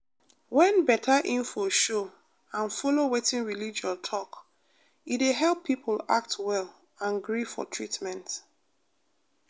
when better info show and follow wetin religion talk e dey help people act well and gree for treatment.